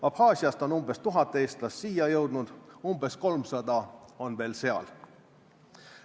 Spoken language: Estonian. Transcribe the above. Abhaasiast on umbes tuhat eestlast siia jõudnud, umbes kolmsada on veel seal.